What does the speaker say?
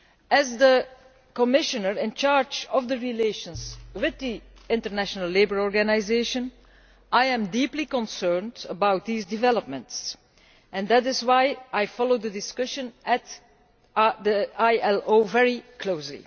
As the Commissioner in charge of relations with the International Labour Organisation, I am deeply concerned about these developments and that is why I followed the discussion at the ILO very closely.